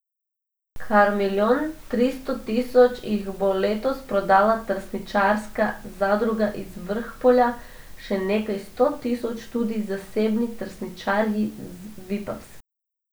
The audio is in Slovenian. Kar milijon tristo tisoč jih bo letos prodala trsničarska zadruga iz Vrhpolja, še nekaj sto tisoč tudi zasebni trsničarji z Vipavske.